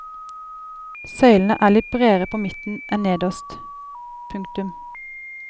Søylene er litt bredere på midten en nederst. punktum